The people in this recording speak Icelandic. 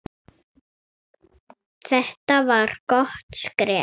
Þetta var gott skref.